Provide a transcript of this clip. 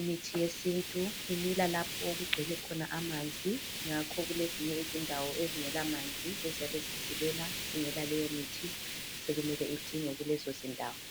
imithi yesintu imila lapho okugcwele khona amanzi, ngakho kulezinye izindawo ezingela manzi eziyabe zisilela zingela leyomithi sokumele indingwe kulezo zindawo.